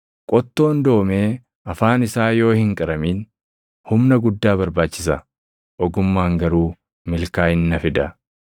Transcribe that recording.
Qottoon doomee afaan isaa yoo hin qaramin, humna guddaa barbaachisa; ogummaan garuu milkaaʼinna fida.